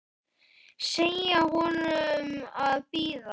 Segja honum að bíða.